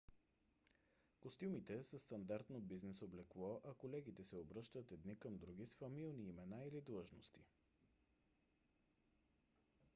костюмите са стандартно бизнес облекло а колегите се обръщат едни към други с фамилни имена или длъжности